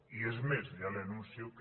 i és més ja li anuncio que